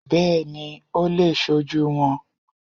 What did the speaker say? Bẹ́ẹ̀ni ó le è sojú won